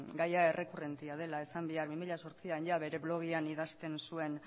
gaia errekurrentea dela esan behar bi mila zortzian jada bere blogean idazten zuen